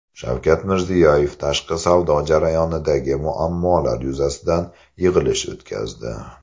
Shavkat Mirziyoyev tashqi savdo jarayonidagi muammolar yuzasidan yig‘ilish o‘tkazdi.